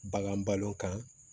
Bagan balo kan